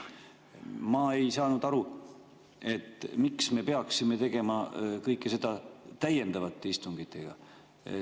Ma ei saanud aru, miks me peaksime tegema kõike seda täiendavatel istungitel.